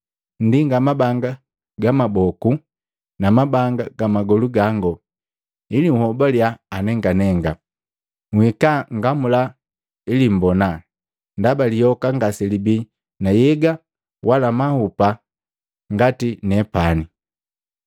Nndinga mabanga ga mmaboku na mabanga mmagolu gango ili nhobaliya anenganenga. Nhika nngamula ili mmbona, ndaba lihoka ngaselibii na nhyega wala mahupa ngati nepani.”